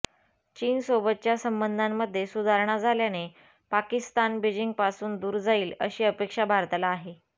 चीनसोबतच्या संबंधांमध्ये सुधारणा झाल्याने पाकिस्तान बीजिंगपासून दूर जाईल अशी अपेक्षा भारताला आहे